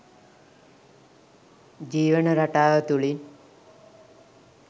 ජීවන රටාව තුලින්.